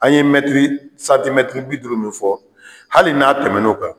An ye mɛtri santimɛtri bi duuru min fɔ hali n'a tɛmɛnɛn'o kan.